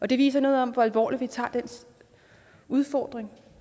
det viser noget om hvor alvorligt vi tager den udfordring